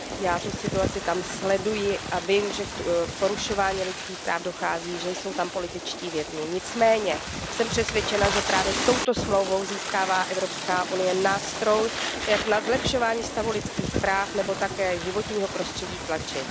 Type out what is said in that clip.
Já situaci tam sleduji a vím, že k porušování lidských práv dochází, že jsou tam političtí vězni, nicméně jsem přesvědčena, že právě touto smlouvou získává EU nástroj, jak na zlepšování stavu lidských práv nebo také životního prostředí tlačit.